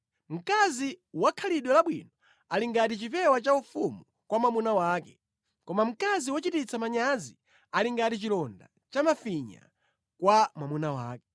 Mkazi wakhalidwe labwino ali ngati chipewa chaufumu kwa mwamuna wake, koma mkazi wochititsa manyazi ali ngati chilonda cha mafinya kwa mwamuna wake.